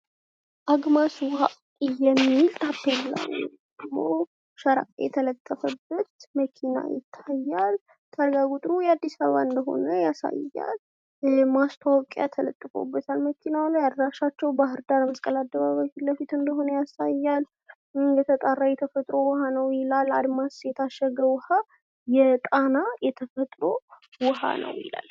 አጉማስ ውሀ የሚል ታፔላ የተለጠፈበት መኪና ይታያል ።ታርጋ ቁጥሩ የአዲስ አበባ እንደሆነ ያሳያል። ማስታወቂያ ተለጥፎበታል መኪናው ላይ አድራሻቸው ባህርዳር መስቀል አደባባይ ፊት ለፊት እንደሆን ያሳያል። የተጣራ የተፈጥሮ ውሃ ነውይላል። አድማስ የታሸገ ውሃ የጣና የተፈጥሮ ውሃ ነው ይላል።